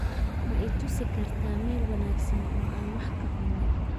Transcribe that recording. Ma i tusi kartaa meel wanaagsan oo aan wax ka cuno?